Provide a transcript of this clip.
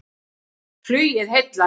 Flugið heillar